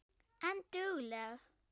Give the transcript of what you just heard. En dugleg.